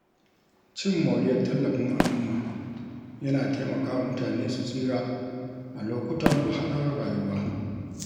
Cin moriyar tallafin al’umma yana taimaka wa mutane su tsira a lokutan wahalar rayuwa.